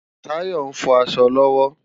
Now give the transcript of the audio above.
Tayo nfò aṣọ lòwò